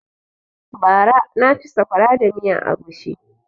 Bara na ci saƙwara da miyan agushi